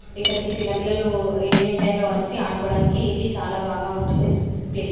ఇక్కడికి చిన్న పిల్లలు ఈవెనింగ్ టైమ్ లో వచ్చి ఆడుకోవడానికి ఇది చాలా బాగా ఉంటుంది. ప్లేస్ --